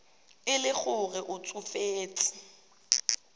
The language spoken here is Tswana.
e le gore o tsofetse